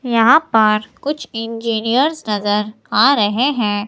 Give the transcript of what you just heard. यहां पर कुछ इंजीनियर्स नजर आ रहे हैं।